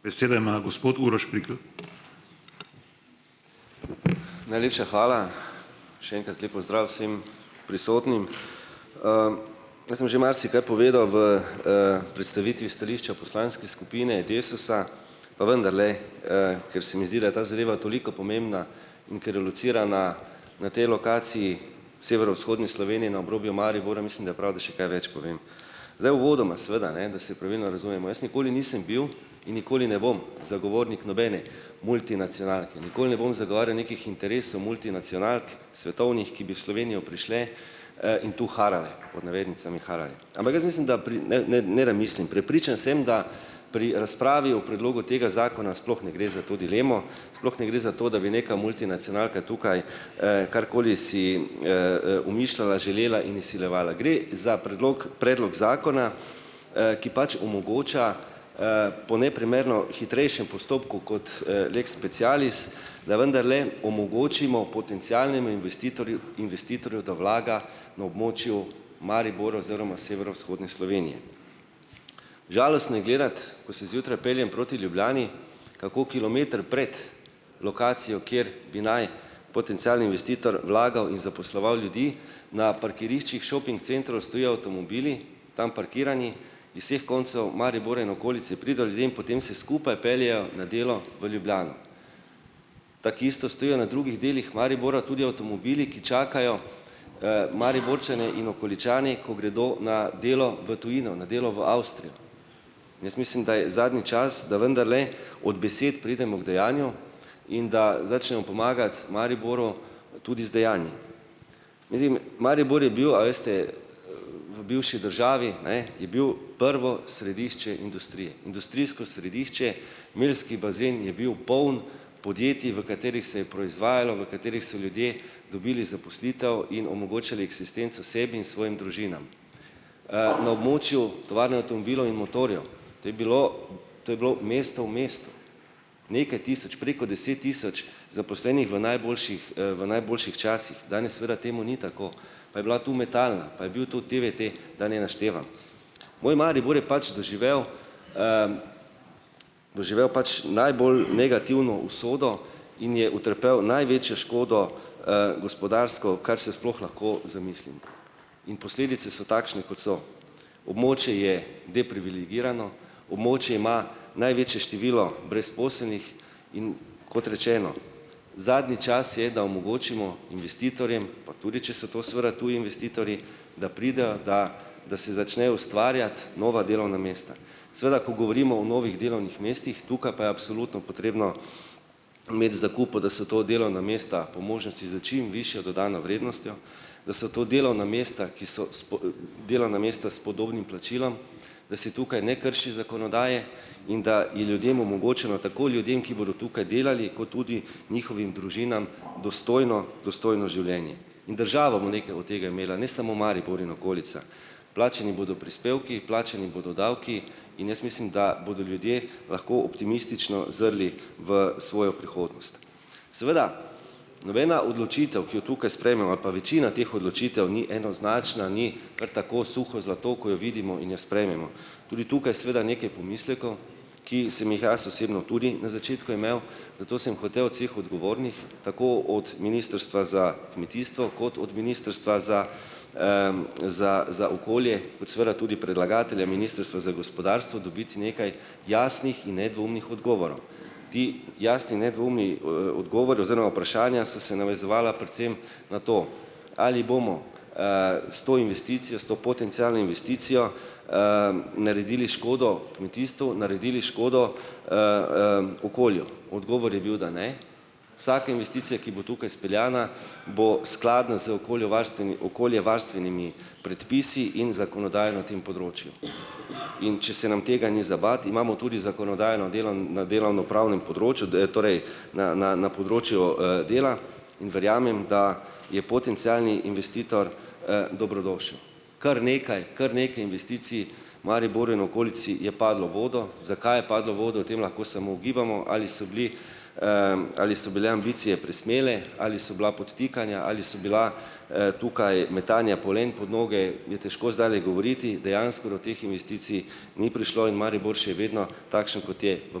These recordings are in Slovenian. Najlepša hvala. Še enkrat lep pozdrav vsem prisotnim! Jaz sem že marsikaj povedal v, predstavitvi stališča poslanske skupine Desusa, pa vendarle, ker se mi zdi, da je ta zadeva toliko pomembna, in ker locirana na tej lokaciji severovzhodne Slovenje na obrobju Maribora, mislim, da je prav, da še kaj več povem. Zdaj, uvodoma seveda, ne, da se pravilno razumemo, jaz nikoli nisem bil in nikoli ne bom zagovornik nobene multinacionalke, nikoli ne bom zagovarjal nekih interesov multinacionalk svetovnih, ki bi v Slovenjo prišle, in tu harale, pod navednicami, harale. Prepričan sem, da pri razpravi o predlogu tega zakona sploh ne gre za to dilemo. Sploh ne gre za to, da bi neka multinacionalka tukaj, karkoli si, umišljala, želela in izsiljevala. Gre za predlog predlog zakona, ki pač omogoča, po neprimerno hitrejšem postopku kot, lex specialis, da vendarle omogočimo potencialnemu investitorju, investitorju, da vlaga na območju Maribora oziroma severovzhodne Slovenije. Žalostno je gledati, ko se zjutraj peljem proti Ljubljani, kako kilometer pred lokacijo, kjer bi naj potencialni investitor vlagal in zaposloval ljudi, na parkiriščih šoping centrov stojijo avtomobili, tam parkirani iz vseh koncev Maribora in okolice, potem se skupaj peljejo na delo v Ljubljano. Tako isto stojijo na drugih delih Maribora tudi avtomobili, ki čakajo, Mariborčane in okoličane, ko gredo na delo v tujino, na delo v Avstrijo. Jaz mislim, da je zadnji čas, da vendarle od besed preidemo k dejanju, pomagati Mariboru tudi z dejanji. Mislim, Maribor je bil, a veste, v bivši državi, ne, je bil prvo središče industrije, industrijsko središče, meljski bazen je bil poln podjetij, v katerih se je proizvajalo, v katerih so ljudje dobili zaposlitev in omogočili eksistenco sebi in svojim družinam. Na območju tovarne avtomobilov in motorjev, to je bilo, to je bilo mesto v mestu, nekaj tisoč, preko deset tisoč zaposlenih v najboljših, v najboljših časih, danes seveda temu ni tako, pa je bila tu Metalna, pa je bil tu TVT, da ne naštevam. Moj Maribor je pač doživel, doživel pač najbolj negativno usodo in je utrpel največjo škodo, gospodarsko, kar se sploh lahko zamislim, in posledice so takšne, kot so, območje je deprivilegirano, območje ima največje število brezposelnih, in kot rečeno, zadnji čas je, da omogočimo investitorjem pa tudi, če so to seveda tudi investitorji, da pridejo, da da se začne ustvarjati nova delovna mesta. Seveda, ko govorimo o novih delovnih mestih, tukaj potrebno imeti zakupu, da so to delovna mesta po čim višjo dodano vrednostjo, da so to delovna mesta, ki so delovna mesta s podobnim plačilom, da se tukaj ne krši zakonodaje, in da in ljudem omogočeno, tako ljudem, ki bodo tukaj delali ko tudi njihovim družinam dostojno dostojno življenje. Ne samo Maribor in okolica. Plačani bodo prispevki, plačani bodo davki in jaz mislim, da bodo ljudje lahko optimistično zrli v svojo prihodnost. Seveda, nobena odločitev, ki jo večina teh odločitev ni enoznačna, ni kar tako suho zlato, ko jo vidimo in jo sprejmemo. Tudi tukaj seveda nekaj pomislekov, ki sem jih jaz osebno tudi na začetku imel, sem hotel od cih odgovornih, tako od Ministrstva za kmetijstvo kot od Ministrstva za, za za okolje, kot seveda tudi predlagatelja, Ministrstva za gospodarstvo, dobiti nekaj jasnih in nedvoumnih odgovorov. Ti jasni, nedvoumni odgovori oziroma vprašanja so se navezovala predvsem na to, ali bomo, s to investicijo, s to potencialno investicijo naredili škodo kmetijstvu, naredili škodo okolju, odgovor je bil, da ne. Vsaka investicija, ki bo tukaj speljana, bo skladna z okoljevarstvenimi predpisi in zakonodajo na tem področju. In če se nam tega ni za bati, imamo tudi zakonodajo na delovnopravnem področju, da je torej na na na področju, dela. In verjamem, da je potencialni investitor, dobrodošel. Kar nekaj, kar nekaj investicij Mariboru in okolici je padlo v vodo. Zakaj je padlo v vodo, o tem lahko smo ugibamo, ali so bili, ali so bile ambicije presmele ali so bila podtikanja ali so bila, tukaj metanja polen pod noge, je težko zdajle govoriti, dejansko do teh investicij ni prišlo in Maribor še vedno takšen, kot je, v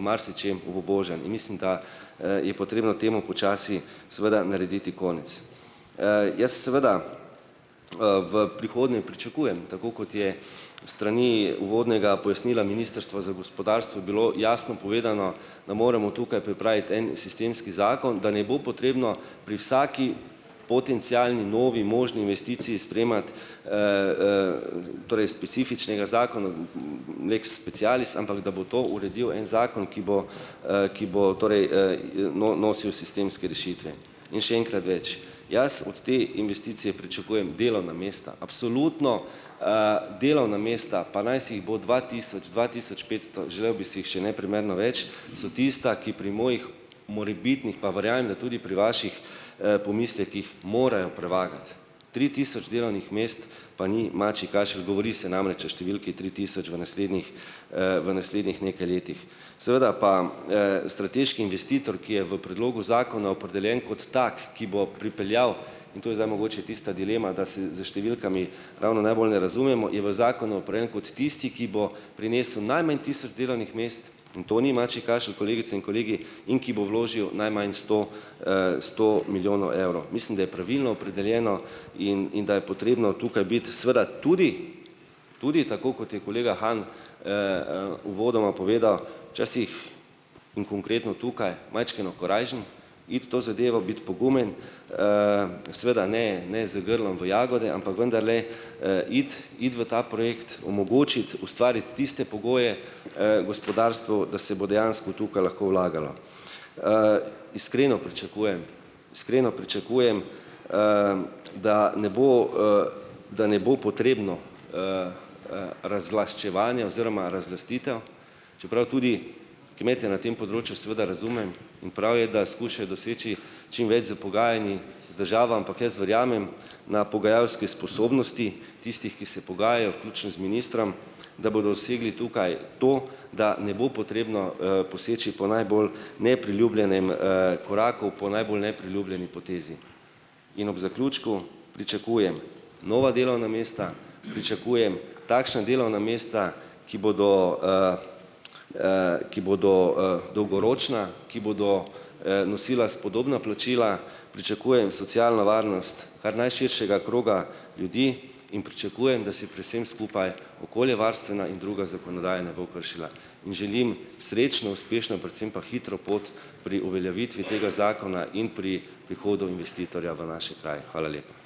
marsičem obubožan, in mislim, da, je potrebno temu počasi seveda narediti konec. Jaz seveda, v prihodnje pričakujem, tako kot je s strani uvodnega pojasnila Ministrstva za gospodarstvo bilo jasno povedano, da moramo tukaj pripraviti en sistemski zakon, da ne bo potrebno pri vsaki potencialni novi možni investiciji sprejemati torej specifičnega zakona, lex specialis, ampak da bo to uredil en zakon, ki bo, ki bo torej nosil sistemske rešitve in še enkrat več. Jaz od te investicije pričakujem delovna mesta, absolutno delovna mesta, pa naj si jih bo dva tisoč, dva tisoč petsto, želel bi si jih še neprimerno več. So tista, ki pri mojih morebitnih, pa tudi pri vaših, pomislekih morajo prevagati. Tri tisoč delovnih mest pa ni mačji kašelj, govori se namreč o številki tri tisoč v naslednjih, v naslednjih nekaj letih. Seveda pa, strateški investitor, ki je v predlogu zakona opredeljen kot tak, ki bo pripeljal, in to je zdaj mogoče tista dilema, da se s številkami ravno najbolje ne razumemo, je v zakonu kot tisti, ki bo prinesel najmanj tisto delovnih mest, in to ni mačji kašelj, kolegice in kolegi, in ki bo vložil najmanj sto, sto milijonov evrov, mislim, da je pravilno opredeljeno in in da je potrebno tukaj biti seveda tudi, tudi tako kot je kolega Han uvodoma povedal, včasih in konkretno tukaj, majčkeno korajžen, iti to zadevo, biti pogumen, seveda ne ne z grlom v jagode, ampak vendarle, iti iti v ta projekt, omogočiti, ustvariti tiste pogoje, gospodarstvu, da se bo dejansko tukaj lahko vlagalo. Iskreno pričakujem, iskreno pričakujem, da ne bo, da ne bo potrebno razlaščevanje oziroma razlastitev, čeprav tudi kmete na tem področju seveda razumem in prav je, da skušajo doseči čim več z z državo, ampak jaz verjamem na pogajalske sposobnosti tistih, ki se z ministrom, da bodo dosegli tukaj to, da ne bo potrebno, poseči po najbolj nepriljubljenem, koraku, po najbolj nepriljubljeni potezi. In ob zaključku pričakujem nova delovna mesta, pričakujem takšna delovna mesta, ki bodo, ki bodo, dolgoročna, ki bodo, nosila spodobna plačila. Pričakujem socialno varnost kar najširšega kroga ljudi in pričakujem, da se pri vsem skupaj okoljevarstvena in druga zakonodaja ne bo kršila. In želim srečno, uspešno, predvsem pa hitro pot pri uveljavitvi tega zakona in pri prihodu investitorja v naše kraje. Hvala lepa.